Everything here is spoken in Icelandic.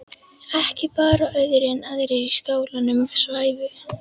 Ekki bar á öðru en aðrir í skálanum svæfu.